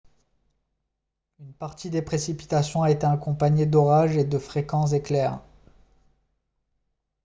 une partie des précipitations a été accompagnée d'orages et de fréquents éclairs